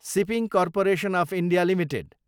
shipping corporation of India Ltd